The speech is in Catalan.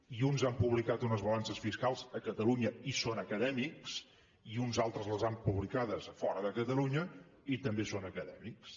i uns han publicat unes balances fiscals a catalunya i són acadèmics i uns altres les han publicades a fora de catalunya i també són acadèmics